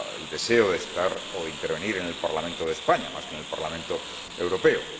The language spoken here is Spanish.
deseo de estar o de intervenir en el Parlamento de España más que en el Parlamento Europeo.